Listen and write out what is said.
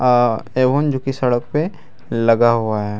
जो कि सड़क पे लगा हुआ है।